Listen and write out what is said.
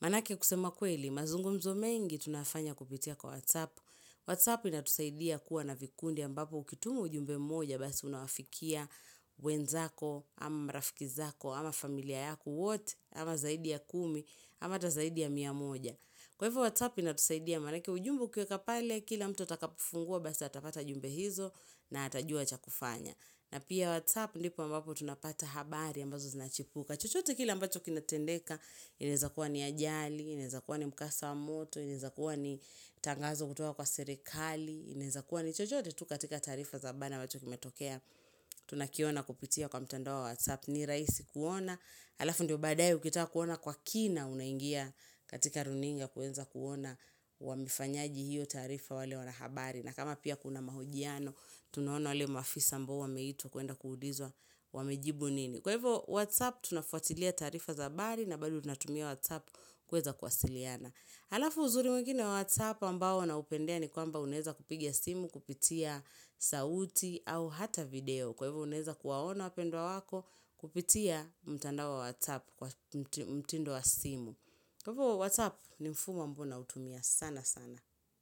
Manake kusema kweli, mazungumzo mengi tunafanya kupitia kwa WhatsApp. WhatsApp inatusaidia kuwa na vikundi ambapo ukitumu ujumbe moja basi unawafikia wenzako, ama marafiki zako, ama familia yako wote, ama zaidi ya kumi, ama ata zaidi ya mia moja. Kwa hivo WhatsApp inatusaidia manake ujumbe ukiweka pale, kila mtu atakapofungua basi atapata jumbe hizo na atajua cha kufanya. Na pia WhatsApp ndipo ambapo tunapata habari ambazo zinachipuka. Chochote kile ambacho kinatendeka. Inaezakuwa ni ajali, inaezakuwa ni mkasa wa moto, inaezakuwa ni tangazo kutoka kwa serekali, inaezakuwa ni chochote tu katika taarifa za bana ambacho kimetokea. Tunakiona kupitia kwa mtandao wa WhatsApp ni rahisi kuona alafu ndio baadaie ukitaka kuona kwa kina unaingia katika runinga kuweza kuona wamefanyaje hiyo taarifa wale wanahabari na kama pia kuna mahojiano tunaona wale maafisa ambao wameitwa kuenda kuulizwa wamejibu nini kwa ivo WhatsApp tunafuatilia taarifa za habari na bado tunatumia WhatsApp kuweza kuwasiliana alafu uzuri mwingine wa WhatsApp ambao naupendea ni kwamba unaeza kupigia simu kupitia sauti au hata video. Kwa hivyo unaeza kuwaona wapendwa wako kupitia mtandao wa WhatsApp kwa mtindo wa simu. Kwa hivyo WhatsApp ni mfumo ambao nautumia sana sana.